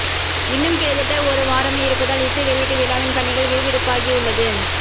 இன்னும் கிட்டத்தட்ட ஒரு வாரமே இருப்பதால் இசை வெளியீட்டு விழாவின் பணிகள் விறுவிறுப்பாகியுள்ளது